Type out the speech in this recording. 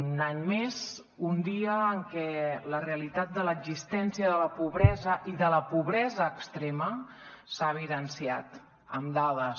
un any més un dia en què la realitat de l’existència de la pobresa i de la pobresa extrema s’ha evidenciat amb dades